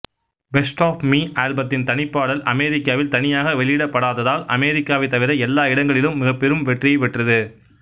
best of me ஆல்பத்தின் தனிப்பாடல் அமெரிக்காவில் தனியாக வெளியிடப்படாததால் அமெரிக்காவைத் தவிர எல்லா இடங்களிலும் மிகப்பெரும் வெற்றியைப் பெற்றது